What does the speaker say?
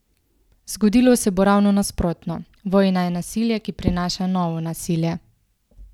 Zgodilo se bo ravno nasprotno: "Vojna je nasilje, ki prinaša novo nasilje".